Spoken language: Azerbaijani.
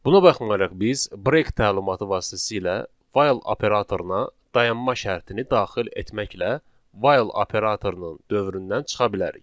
Buna baxmayaraq biz 'break' təlimatı vasitəsilə 'file' operatoruna dayanma şərtini daxil etməklə 'while' operatorunun dövründən çıxa bilərik.